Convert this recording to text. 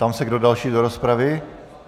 Ptám se, kdo další do rozpravy.